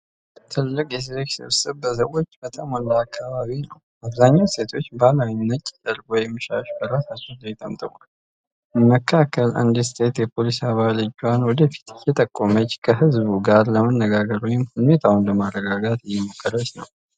ትልቅ የሴቶች ስብስብ በሰዎች በተሞላ አካባቢ ነው። አብዛኞቹ ሴቶች ባህላዊ ነጭ ጨርቅ ወይም ሻሽ በራሳቸው ላይ ጠምጥመዋል። መካከል አንዲት ሴት የፖሊስ አባል እጇን ወደፊት እየጠቆመች ከሕዝቡ ጋር ለመነጋገር ወይም ሁኔታውን ለማረጋጋት እየሞከረች ነው።